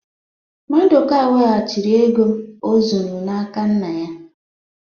Maduka weghachiri ego o zuru n'aka nna ya